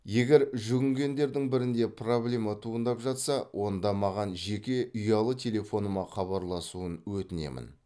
егер жүгінгендердің бірінде проблема туындап жатса онда маған жеке ұялы телефоныма хабарласуын өтінемін